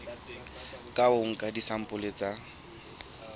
ka ho nka disampole tsa